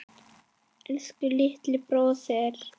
Elsku litli bróðir.